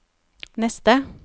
neste